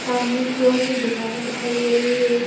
सामने की ओर कुछ दुकाने दिखाई दे रही है।